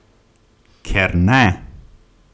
Ker ne!